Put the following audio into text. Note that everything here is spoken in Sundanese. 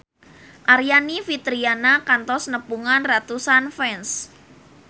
Aryani Fitriana kantos nepungan ratusan fans